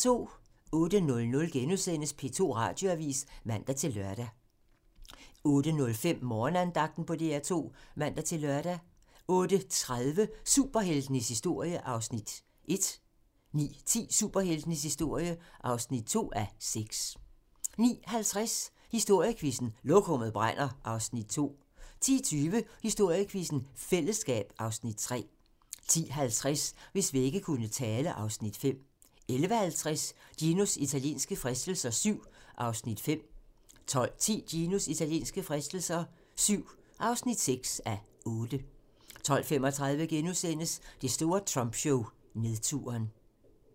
08:00: P2 Radioavis *(man-lør) 08:05: Morgenandagten på DR2 (man-lør) 08:30: Superheltenes historie (1:6) 09:10: Superheltenes historie (2:6) 09:50: Historiequizzen: Lokummet brænder (Afs. 2) 10:20: Historiequizzen: Fællesskab (Afs. 3) 10:50: Hvis vægge kunne tale (Afs. 5) 11:50: Ginos italienske fristelser VII (5:8) 12:10: Ginos italienske fristelser VII (6:8) 12:35: Det store Trumpshow: Nedturen *